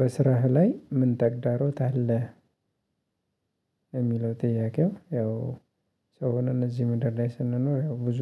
በስራህ ላይ ምን ተግዳሮት አለ? የሚለው ጥያቄው ያው ሰው ሆነን እዚህ ምድር ላይ ስንኖር ብዙ